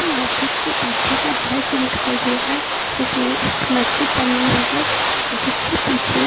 मस्जिद के पीछे का दृश्य दिखाई दे रहा है जिसमें एक मस्जिद बनी हुई है जिसके पीछे--